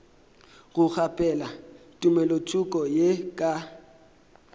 go kgaphela tumelothoko ye ka